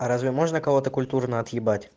а разве можно кого-то культурно отъебать